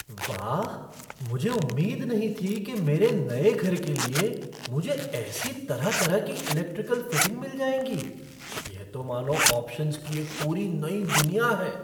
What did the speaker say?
वाह, मुझे उम्मीद नहीं थी कि मेरे नए घर के लिए मुझे ऐसी तरह तरह की इलेक्ट्रिकल फ़िटिंग मिल जाएंगी, यह तो मानो ऑप्शन्स की एक पूरी नई दुनिया है!